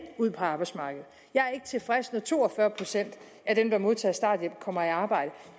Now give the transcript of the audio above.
ud på arbejdsmarkedet jeg er ikke tilfreds med at to og fyrre procent af dem der modtager starthjælp kommer i arbejde